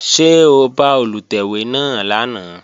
Ṣé o bá Olùtẹ̀wé náà lánàá?